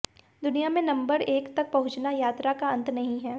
दुनिया में नंबर एक तक पहुंचना यात्रा का अंत नहीं है